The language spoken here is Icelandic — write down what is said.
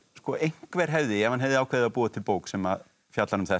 einhver hefði ef hann hefði ákveðið að búa til bók sem fjallar um þetta